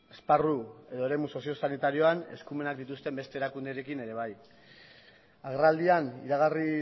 esparru edo eremu soziosanitarioan eskumena dituzten beste erakundeekin ere bai agerraldian iragarri